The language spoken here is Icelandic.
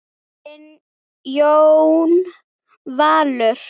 Þinn Jón Valur.